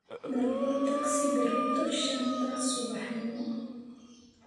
Dalbo tagsi berrito shanta subaxnimo